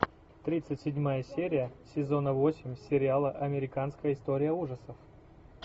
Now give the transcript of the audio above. тридцать седьмая серия сезона восемь сериала американская история ужасов